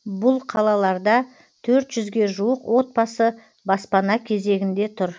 бұл қалаларда төрт жүзге жуық отбасы баспана кезегінде тұр